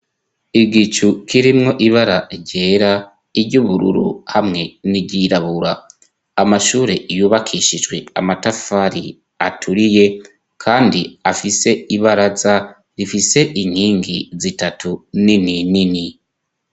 Igicu kirimwo ibara ryera iryubururu hamwe n'iryirabura amashure iyubakishijwe amatafari aturiye, kandi afise ibaraza rifise inkingi zitatu nini nini.